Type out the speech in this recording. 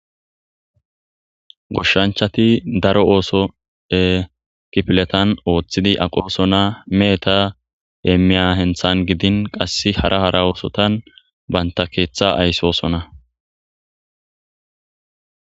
Goshshanchati daro ooso ekifiletan ooththidi aqoosona meeta eemiya henthan gidin qasse hara hara oosotan banta keeththa aysoosona.